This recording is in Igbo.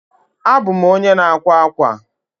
abum onye na akwa akwa.